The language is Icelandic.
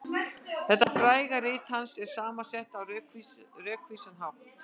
Þetta fræga rit hans er saman sett á rökvísan hátt.